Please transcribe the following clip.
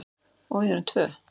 Og við erum tvö.